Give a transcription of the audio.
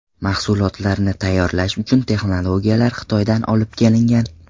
Mahsulotlarni tayyorlash uchun texnologiyalar Xitoydan olib kelingan.